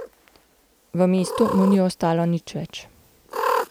V mestu mu ni ostalo nič več.